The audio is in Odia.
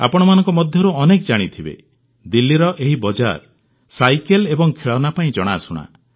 ଆପଣମାନଙ୍କ ମଧ୍ୟରୁ ଅନେକ ଜାଣିଥିବେ ଦିଲ୍ଲୀର ଏହି ବଜାର ସାଇକେଲ ଏବଂ ଖେଳନା ପାଇଁ ଜଣାଶୁଣା